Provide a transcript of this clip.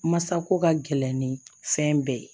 Masako ka gɛlɛn ni fɛn bɛɛ ye